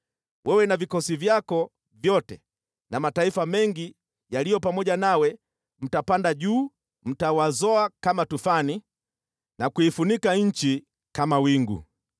Wewe na vikosi vyako vyote na mataifa mengi yaliyo pamoja nawe mtapanda juu, mtawazoa kama tufani na kuifunika nchi kama wingu.